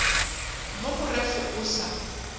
mo go ref o sa